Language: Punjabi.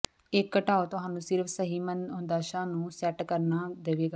ਇੱਕ ਘਟਾਓ ਤੁਹਾਨੂੰ ਸਿਰਫ ਸਹੀ ਮਨੋਦਸ਼ਾ ਨੂੰ ਸੈੱਟ ਕਰਨ ਦੇਵੇਗਾ